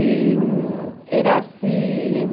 E era assim...